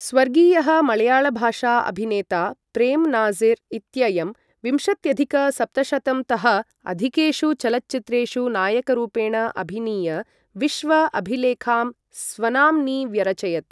स्वर्गीयः मळयाळभाषा अभिनेता प्रेम् नाजिर् इत्ययं विंशत्यधिक सप्तशतंतः अधिकेषु चलच्चित्रेषु नायकरूपेण अभिनीय विश्व अभिलेखां स्वनाम्नि व्यरचयत्।